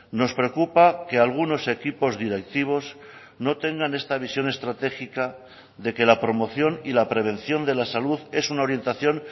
nos preocupa que algunos equipos directivos no tengan esta visión estratégica de que la promoción y la prevención de la salud es una orientación